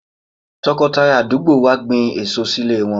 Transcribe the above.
Tọkọtaya àdúgbò wa gbin èso sílé wọn.